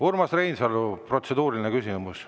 Urmas Reinsalu, protseduuriline küsimus.